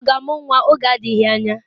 Chioma ọ ga-amụ nwa oge adịghị anya?